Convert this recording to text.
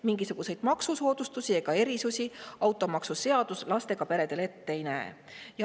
Mingisuguseid maksusoodustusi ega erisusi automaksuseadus lastega peredele ette ei näe.